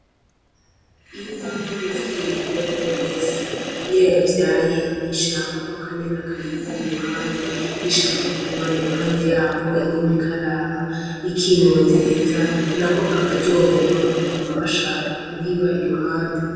Inka nk'umuvyeyi uwariwe wese iyo yavyaye ntishaka ko akanyana kayiva iruhande ishaka kuguma iruhande yako iguma ikaraba ikimotereza nako kakaryoherwa kakaguma gashaka kuyiba iruhande.